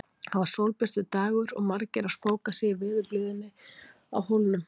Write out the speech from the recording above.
Það var sólbjartur dagur og margir að spóka sig í veðurblíðunni á Hólnum.